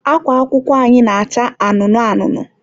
akwa akwụkwọ anyị na-acha anụnụ anụnụ.